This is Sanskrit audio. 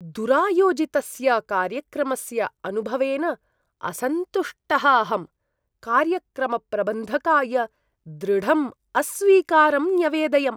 दुरायोजितस्य कार्यक्रमस्य अनुभवेन असन्तुष्टः अहं, कार्यक्रमप्रबन्धकाय दृढम् अस्वीकारं न्यवेदयम्।